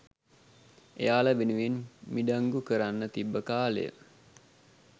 එයාල වෙනුවෙන් මිඩංගු කරන්න තිබ්බ කාලය.